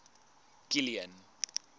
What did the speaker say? kilian